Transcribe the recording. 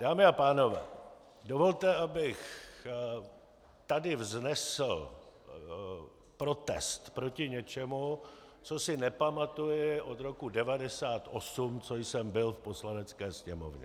Dámy a pánové, dovolte, abych tady vznesl protest proti něčemu, co si nepamatuji od roku 1998, co jsem byl v Poslanecké sněmovně.